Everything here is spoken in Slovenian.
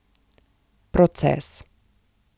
Proces.